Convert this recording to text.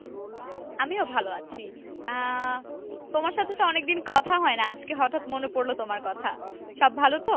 আমিও ভালো আছি আহ তোমার সাথে তো অনেক দিন কথা হয় না, আজকে হঠাৎ মনে পরলো তোমার কথা। সব ভালো তো?